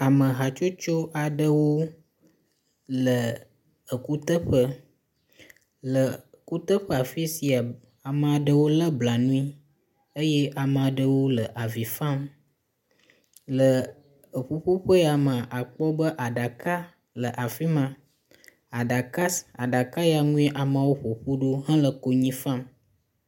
Ame hatsotso aɖewo le ekuteƒe, le kuteƒe afisia ame aɖewo le blanui eye ame aɖewo le avi fam. Le eƒuƒoƒe ya me akpɔ be aɖaka le afima, aɖaka si, aɖaka ya ŋu amewo ƒoƒu ɖo hele konyi fam